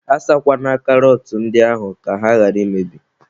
A sakwana karọt ndị ahụ ka ha ghara imebi.